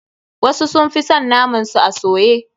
Wasu sun fi son naman su a soye.